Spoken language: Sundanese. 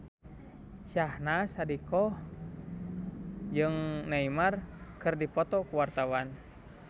Syahnaz Sadiqah jeung Neymar keur dipoto ku wartawan